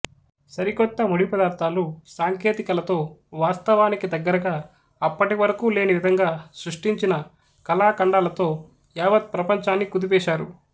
సరిక్రొత్త ముడి పదార్థాలు సాంకేతికలతో వాస్తవానికి దగ్గరగా అప్పటి వరకు లేని విధంగా సృష్టించిన కళాఖండాలతో యావత్ ప్రపంచాన్ని కుదిపేశారు